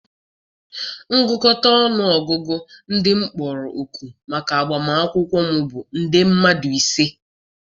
ngụkọta ọnụ ọgụgụ ndị m kpọrọ òkù maka agbamakwụkwọ m bụ nde mmadụ ise.